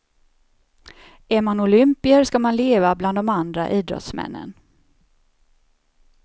Är man olympier ska man leva bland de andra idrottsmännen.